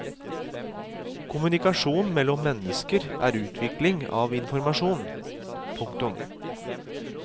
Kommunikasjon mellom mennesker er utveksling av informasjon. punktum